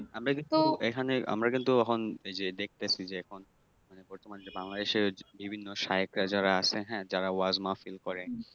আমরা কিন্তু এখানে আমরা কিন্তু অহন এই যে দেখতেছি এখন মানে বর্তমান যে বাংলাদেশে বিভিন্ন শায়েখরা যারা আছে হ্যাঁ, যারা ওয়াজ মাহফিল করে